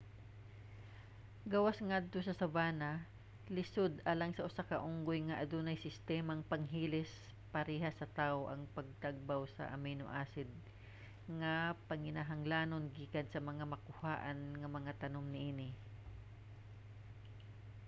gawas ngadto sa savanna lisod alang sa usa ka unggoy nga adunay sistemang panghilis parehas sa tawo ang pagtagbaw sa amino-acid nga panginahanglanon gikan sa mga makuhaan nga mga tanom niini